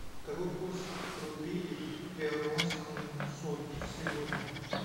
какой курс рупии к перуанскому солю сегодня